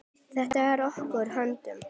Þetta er í okkar höndum.